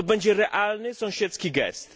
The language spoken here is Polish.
To będzie realny sąsiedzki gest.